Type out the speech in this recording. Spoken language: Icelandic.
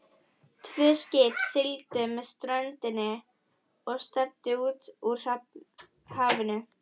Tvö skip sigldu með ströndinni og stefndu út úr hafinu.